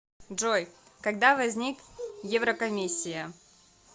джой когда возник еврокомиссия